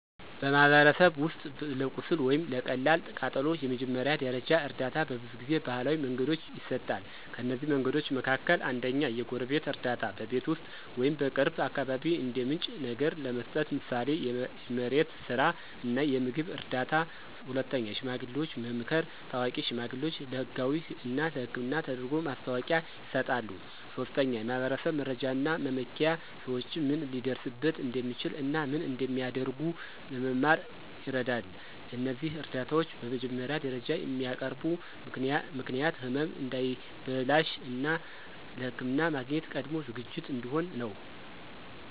በማኅበረሰብ ውስጥ ለቁስል ወይም ለቀላል ቃጠሎ የመጀመሪያ ደረጃ እርዳታ በብዙ ጊዜ ባህላዊ መንገዶች ይሰጣል። ከእነዚህ መንገዶች መካከል፦ 1. የጎረቤት እርዳታ – በቤት ውስጥ ወይም በቅርብ አካባቢ እንደ ምንጭ ነገር ለመስጠት፣ ምሳሌ የመሬት ስራ እና የምግብ እርዳታ። 2. የሽማግሌዎች መምከር – ታዋቂ ሽማግሌዎች ለህጋዊ እና ሕክምና ተደርጎ ማስታወቂያ ይሰጣሉ። 3. የማኅበረሰብ መረጃ እና መመኪያ – ሰዎች ምን ሊደርስበት እንደሚችል እና ምን እንደሚያደርጉ ለመማር ይረዳል። እነዚህ እርዳታዎች በመጀመሪያ ደረጃ የሚያቀርቡ ምክንያት ህመም እንዳይበላሽ፣ እና ለሕክምና ማግኘት ቀድሞ ዝግጅት እንዲሆን ነው።